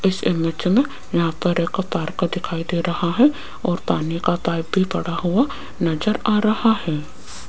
इस इमेज में यहां पर एक पार्क दिखाई दे रहा है और पानी का पाइप भी पड़ा हुआ नजर आ रहा है।